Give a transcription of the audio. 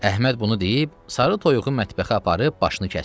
Əhməd bunu deyib sarı toyuğu mətbəxə aparıb başını kəsdi.